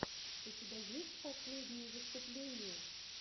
у тебя есть последние выступления